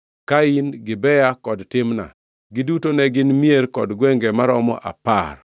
Kain, Gibea, kod Timna. Giduto ne gin mier kod gwenge maromo apar.